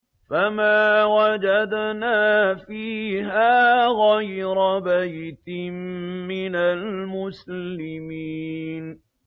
فَمَا وَجَدْنَا فِيهَا غَيْرَ بَيْتٍ مِّنَ الْمُسْلِمِينَ